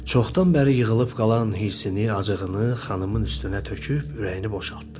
Çoxdan bəri yığılıb qalan hirsini, acığını xanımın üstünə töküb ürəyini boşaltdı.